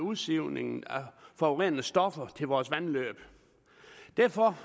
udsivningen af forurenende stoffer til vores vandløb derfor